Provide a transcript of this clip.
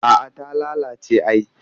A'a ta lalace ai